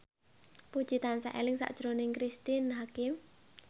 Puji tansah eling sakjroning Cristine Hakim